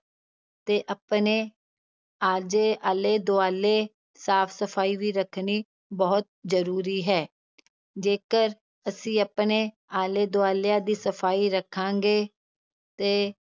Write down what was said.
ਤੇ ਆਪਣੇ ਆਲੇ ਦੁਆਲੇ ਸਾਫ਼ ਸਫ਼ਾਈ ਵੀ ਰੱਖਣੀ ਬਹੁਤ ਜ਼ਰੂਰੀ ਹੈ ਜੇਕਰ ਅਸੀਂ ਆਪਣੇ ਆਲੇ ਦੁਆਲਿਆਂ ਦੀ ਸਫ਼ਾਈ ਰੱਖਾਂਗੇ ਤੇ